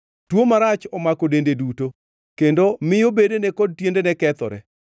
Tuo marach omako dende duto, kendo miyo bedene kod tiendene kethore.